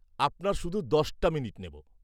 আপনার শুধু দশটা মিনিট নেব।